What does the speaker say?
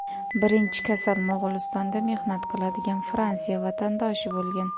Birinchi kasal Mo‘g‘ulistonda mehnat qiladigan Fransiya vatandoshi bo‘lgan.